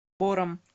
бором